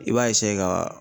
I b'a eseye ka